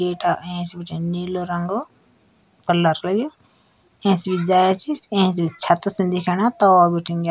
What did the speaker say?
गेठा ऐंच बिटेन नीलो रंगो कलर कयु ऐंच बी जाँया च ऐंच भी छत सिन दिखेणा तौल बिटिन य --